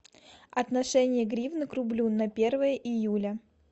отношение гривны к рублю на первое июля